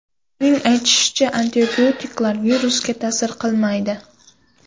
Uning aytishicha, antibiotiklar virusga ta’sir qilmaydi.